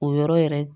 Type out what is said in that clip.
O yɔrɔ yɛrɛ